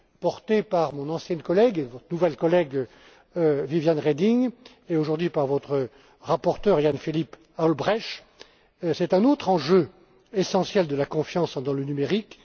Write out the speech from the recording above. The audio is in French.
données porté par mon ancienne collègue et votre nouvelle collègue, Viviane Reding, et aujourd'hui par votre rapporteur Jan Philipp Albrecht est un autre enjeu essentiel de la confiance dans le numérique.